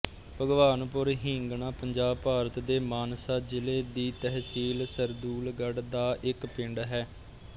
ਭਗਵਾਨਪੁਰ ਹੀਂਗਣਾ ਪੰਜਾਬ ਭਾਰਤ ਦੇ ਮਾਨਸਾ ਜ਼ਿਲ੍ਹੇ ਦੀ ਤਹਿਸੀਲ ਸਰਦੂਲਗੜ੍ਹ ਦਾ ਇੱਕ ਪਿੰਡ ਹੈ